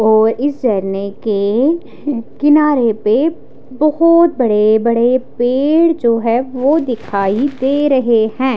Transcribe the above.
और इस झरने के किनारे पे बहुत बड़े-बड़े पेड़ जो हैं वो दिखाई दे रहे हैं।